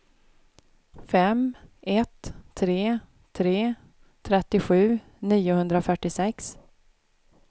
fem ett tre tre trettiosju niohundrafyrtiosex